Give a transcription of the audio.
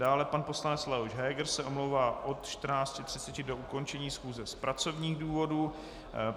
Dále pan poslanec Leoš Heger se omlouvá od 14.30 do ukončení schůze z pracovních důvodů.